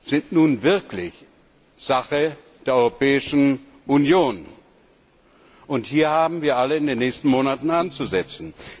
sind nun wirklich Sache der Europäischen Union. Und hier haben wir alle in den nächsten Monaten anzusetzen.